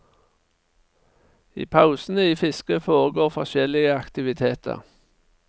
I pausene i fisket foregår forskjellige aktiviteter.